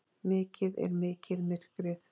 Mikið er mikið myrkrið.